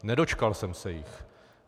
Nedočkal jsem se jich.